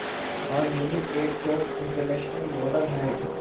आज मीनू एक top international model है